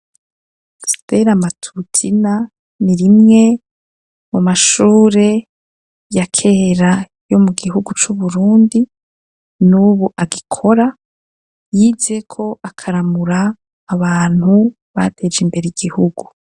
Steramatutina ni rimwe mu mashure ya kera yo mu gihugu c'uburundi nubu agikora yizeko akaramura abantu bateje imbere igihugu.